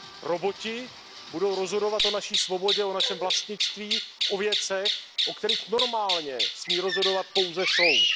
Roboti budou rozhodovat o naší svobodě, o našem vlastnictví, o věcech, o kterých normálně smí rozhodovat pouze soud.